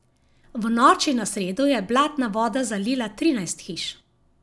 V noči na sredo je blatna voda zalila trinajst hiš.